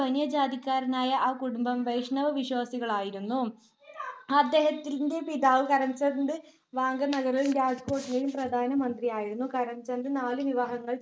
ബനിയ ജാതിക്കാരായ ആ കുടുംബം വൈഷ്ണവവിശ്വാസികളായിരുന്നു. അദ്ദേഹത്തിന്റെ പിതാവ് കരംചന്ദ് വാങ്കനഗറിലും രാജ്‌കോട്ടിലേയും പ്രധാനമന്ത്രിയായിരുന്നു. കരംചന്ദ് നാലു വിവാഹങ്ങൾ